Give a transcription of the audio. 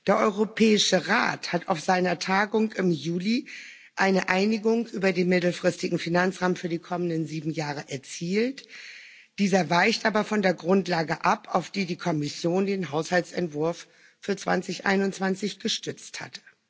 Der Europäische Rat hat auf seiner Tagung im Juli eine Einigung über den mittelfristigen Finanzrahmen für die kommenden sieben Jahre erzielt, dieser weicht aber von der Grundlage ab, auf die die Kommission den Haushaltsentwurf für 2021 gestützt hat.